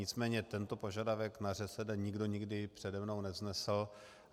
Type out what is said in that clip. Nicméně tento požadavek na ŘSD nikdo nikdy přede mnou nevznesl.